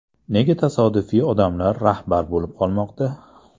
Nega tasodifiy odamlar rahbar bo‘lib qolmoqda?